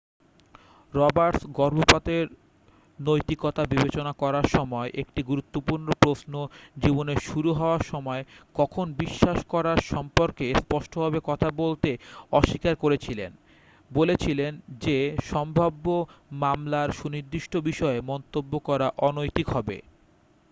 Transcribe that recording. Roberts গর্ভপাতের নৈতিকতা বিবেচনা করার সময় একটি গুরুত্বপূর্ণ প্রশ্নজীবনের শুরু হওয়ার সময় কখন বিশ্বাস করার সম্পর্কে স্পষ্টভাবে কথা বলতে অস্বীকার করেছিলেন বলেছিলেন যে সম্ভাব্য মামলার সুনির্দিষ্ট বিষয়ে মন্তব্য করা অনৈতিক হবে